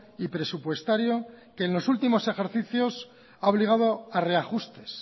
y presupuestario que en los últimos ejercicios ha obligado a reajustes